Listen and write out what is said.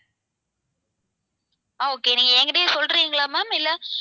ஆஹ் okay நீங்க என்கிட்டயே சொல்றீங்களா ma'am இல்ல